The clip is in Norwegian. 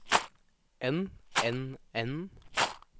enn enn enn